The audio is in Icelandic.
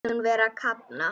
Finnst hún vera að kafna.